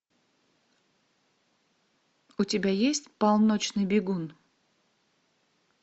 у тебя есть полночный бегун